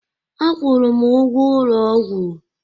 Akwụụrụ m ụgwọ ụlọ ọgwụ